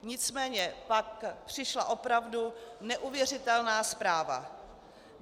Nicméně pak přišla opravdu neuvěřitelná zpráva.